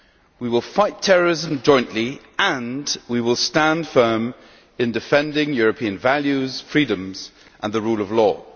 We will fight terrorism jointly and we will stand firm in defending European values, freedoms and the rule of law.